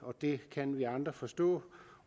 det kan vi andre forstå